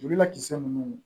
Julu la kisɛ ninnu